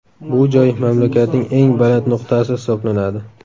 Bu joy mamlakatning eng baland nuqtasi hisoblanadi.